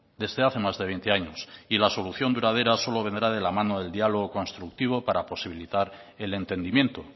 desde hace más de veinte años y la solución duradera solo vendrá de la mano del diálogo constructivo para posibilitar el entendimiento